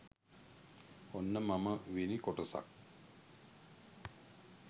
ඔන්න මම වෙනි කොටසත්